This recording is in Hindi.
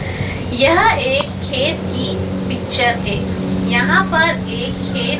यह एक खेत की पिक्चर है यहां पर एक खेत--